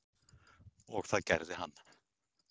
Og það gerði hann